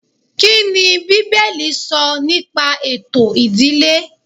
Kíni bíbélì sọ nípa ètò ìdílé